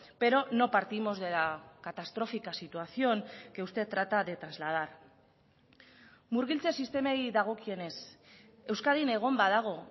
pero no partimos de la catastrófica situación que usted trata de trasladar murgiltze sistemei dagokienez euskadin egon badago